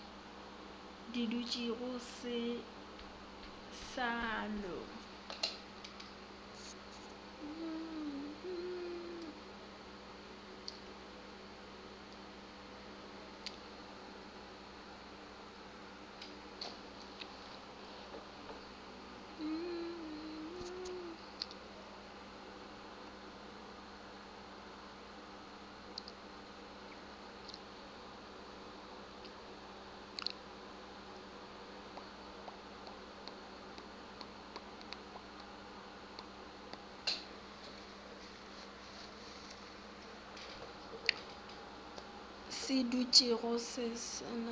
se dutšego se sa no